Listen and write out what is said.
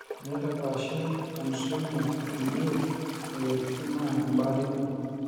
teneitapaashi ansomia kuliee moyisritin naa ebaare ina